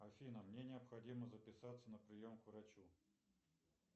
афина мне необходимо записаться на прием к врачу